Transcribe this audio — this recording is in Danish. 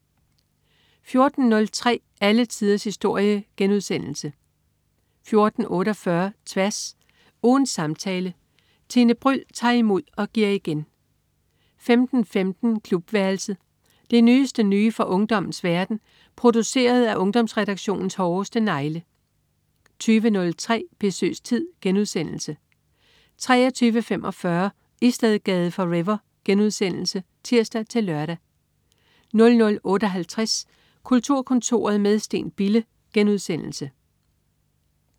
14.03 Alle tiders historie* 14.48 Tværs. Ugens samtale. Tine Bryld tager imod og giver igen 15.15 Klubværelset. Det nyeste nye fra ungdommens verden, produceret af Ungdomsredaktionens hårdeste negle 20.03 Besøgstid* 23.45 Istedgade forever* (tirs-lør) 00.58 Kulturkontoret med Steen Bille*